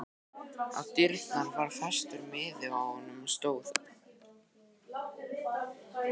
Á dyrnar var festur miði og á honum stóð